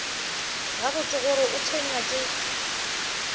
gabotse gore o tshwenywa ke